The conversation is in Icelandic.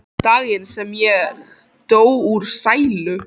Daginn sem ég dó úr sælu.